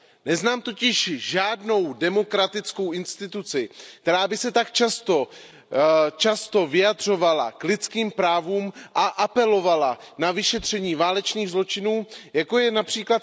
Neznám totiž žádnou demokratickou instituci, která by se tak často vyjadřovala k lidským právům a apelovala na vyšetření válečných zločinů, jako je např.